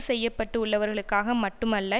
செய்யப்பட்டுள்ளவர்களுக்காக மட்டுமல்ல